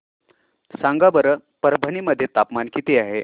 सांगा बरं परभणी मध्ये तापमान किती आहे